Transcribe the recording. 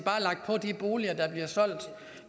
bare de boliger der bliver solgt